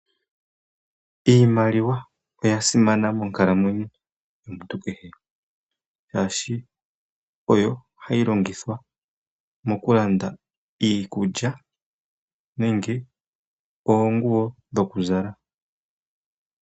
Iimaliwa oya simana monkalamwenyo yomuntu kehe shashi oyo hayi longithwa mokulanda iikulya nenge oonguwo dhokuzala.